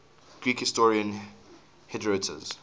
greek historian herodotus